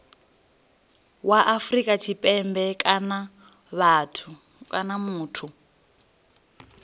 wa afrika tshipembe kana muthu